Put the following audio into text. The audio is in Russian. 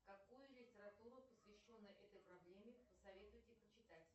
какую литературу посвященную этой проблеме посоветуете почитать